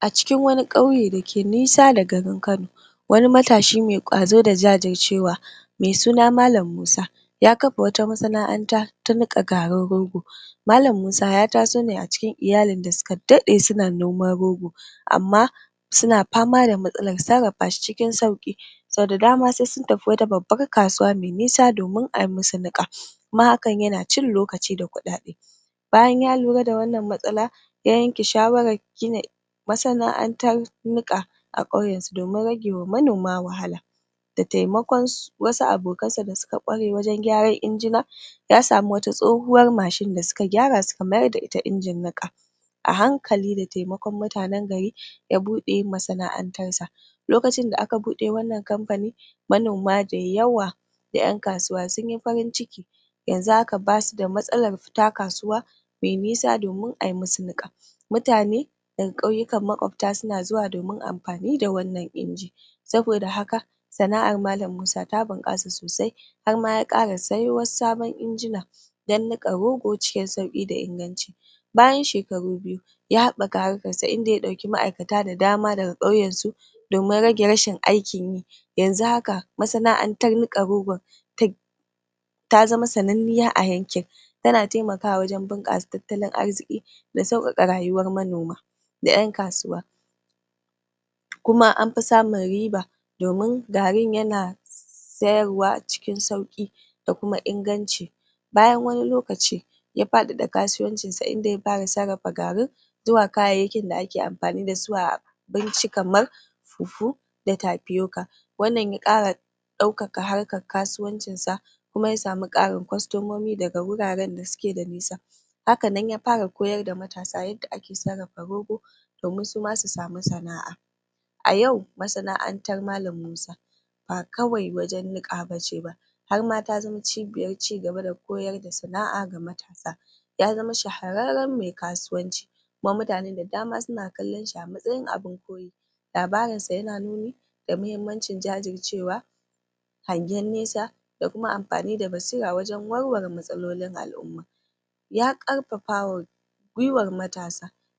a cikin wani ƙauye dake nisa da garin kano wani matashi me ƙwazo da jajircewa me suna malam musa ya kafa wata masana'anta ta niƙa garin rogo malam musa ya taso ne a cikin iyalin da suka da ɗe suna noman rogo amma suna fama da matsalar sarrafashi cikin sauƙi saudadama sai sun tafi wata babbar kasuwa me nisa domin ayi musu niƙa kuma hakan yana cin lokaci da ƙudade bayan ya lura da wannan matsala ya yanke shawarar gina masana'antar niƙa a ƙauyansu domin ragewa manoma wahala da taimakonsu wasu abokansa da suka ƙware gurin gyaran injina ya samu wata ya samu wata tsohuwa mashin da suka gyara suka mayar da ita injin niƙa a hankali da taimakon mutanan gari ya buɗe masana'antarsa lokacin da aka bude wannan kamfani manoma da yawa da ƴan kasuwa sunyi farin ciki yanxu haka basuda matsalar fita kasuwa me nisa domin ayi musu niƙa mutane daga ƙauyikan maƙwafta suna zuwa domin amfani da wannan injin saboda haka sana'ar malam musa ta bunkasa sosai harma ya ƙara sayo wasu injinan dan niƙa rogo cikin sauƙi da inganci bayan shekaru biyu ya habbaka harkarsa inda ya ɗebi ma'aikata da dama daga ƙauyansu domin rage rashin aikinyi yanzu haka masana'antar niƙa rogon ta zama sanan niya a yankin tana taimakawa gurin bunƙasa tattalin arziki da sauƙaƙa rayuwar manoma da ƴan kasuwa kuma anfi samun riba domin garin yana sayarwa cikin sauƙi da kuma inganci bayan wani lokaci ya faɗaɗa kasuwancinsa inda ya fara siyar da garin zuwa kayayyakin da ake amfani dasu a abinci kamar fufu da tafiyoka wannan ya ƙara ɗaukaka harkar kasuwancinsa kuma yasamu ƙarin ƙwastomomi daga guraran da suke da nisa hakanan ya fara koyar da matasa yanda ake sarrafa rogo koyar da matasa y domin suma su samu sana'a a yau masana'antar malam musa ba kawai wajan niƙa bace ba harma ta zama cibiyar cigaba da koyar da sana'a ga matasa ya zama shahararran me kasuwanci kuma mutane da dama suna kallanshi a matsayin kuma mutane da dama suna kallanshi a matsayin abun koye labarinsa yana nuni da mahimmancin jajircewa hangyan nisa da kuma amfani da basira gurin warware matsalolin al'uma ya ƙarfafawa gwiwa